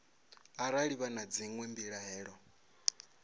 arali vha na dzinwe mbilaelo